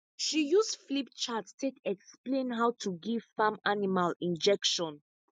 she use flipchart take explain how to give farm animal injection